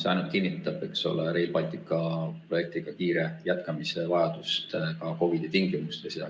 See ainult kinnitab Rail Balticu projekti kiire jätkamise vajadust ka COVID-i tingimustes.